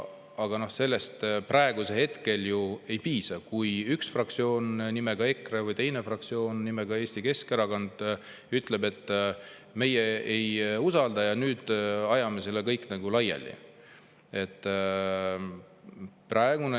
Aga sellest praegusel hetkel ju ei piisa, kui üks fraktsioon nimega EKRE või teine fraktsioon nimega Eesti Keskerakond ütleb, et meie ei usalda ja nüüd ajame selle kõik nagu laiali.